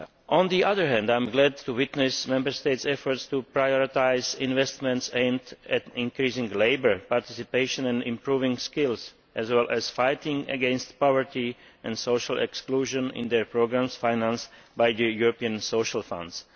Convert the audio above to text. On the other hand, I am glad to witness Member States' efforts to prioritise investments aimed at increasing labour participation and improving skills, as well as fighting against poverty and social exclusion in their programmes financed by the European social funds.